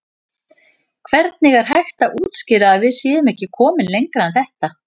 Hvernig er hægt að útskýra að við séum ekki komin lengra en þetta?